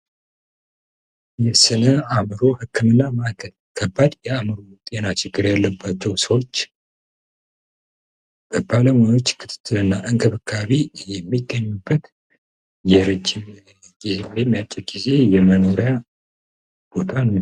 የስነ አምሮ ህክምና ማዕከል ከባድ የአምሮ ጤና ችግል ያለባቸውን ሰዎች በባለሙያዎች ክትትን እና እንገብካቢ የሚገኙበት የረጅም ወይም የአጭር ጊዜ የመኖሪያ ቦታ ነው።